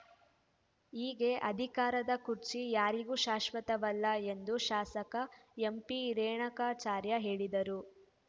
ಹೀಗೆ ಅಧಿಕಾರದ ಕುರ್ಚಿ ಯಾರಿಗೂ ಶಾಶ್ವತವಲ್ಲ ಎಂದು ಶಾಸಕ ಎಂಪಿರೇಣಕಾಚಾರ್ಯ ಹೇಳಿದರು